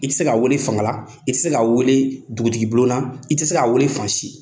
I tɛ se k'a wele fanga la, i tɛ se k'a wele dugutigi bulon na, i tɛ se k'a wele fan si.